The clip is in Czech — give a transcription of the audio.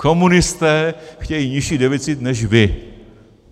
Komunisté chtějí nižší deficit než vy.